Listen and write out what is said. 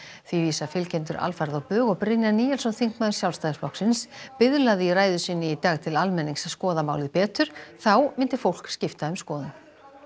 því vísa fylgjendur alfarið á bug og Brynjar Níelsson þingmaður Sjálfstæðisflokksins biðlaði í ræðu sinni í dag til almennings að skoða málið betur þá myndi fólk skipta um skoðun